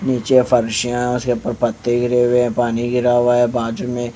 नीचे फर्शियां उसके ऊपर पत्ते गिरे हुए हैं पानी गिरा हुआ है बाजू में --